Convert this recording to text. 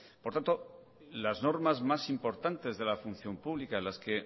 por lo tanto las normas más importantes de la función pública las que